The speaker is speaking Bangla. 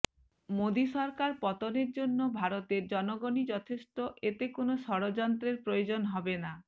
মোদি সরকার পতনের জন্য ভারতের জনগণই যথেষ্ট এতে কোন ষড়যন্ত্রের প্রয়োজন হবে না